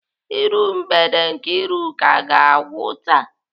Iru mgbede Nkeiruka ga-agwụ taa.